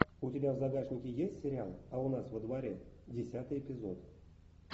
у тебя в загашнике есть сериал а у нас во дворе десятый эпизод